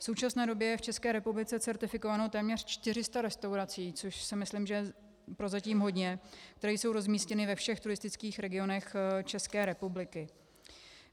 V současné době je v České republice certifikováno téměř 400 restaurací, což si myslím, že je prozatím hodně, které jsou rozmístěny ve všech turistických regionech České republiky.